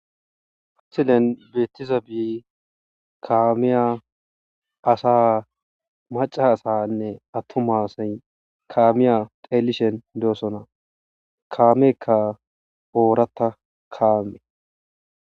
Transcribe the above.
Ha misiliyan beetizabiy kaamiya, asa, maca asanne atuma asayi kaamiya xelishn dosona , kameyka oorata kaame.